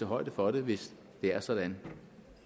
højde for det hvis det er sådan